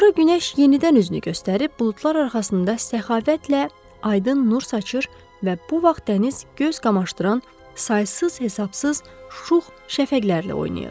Sonra günəş yenidən üzünü göstərib buludlar arxasında səxavətlə, aydın nur saçır və bu vaxt dəniz göz qamaşdıran, saysız-hesabsız şux şəfəqlərlə oynayırdı.